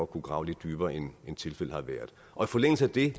kunne grave lidt dybere end tilfældet har været og i forlængelse af det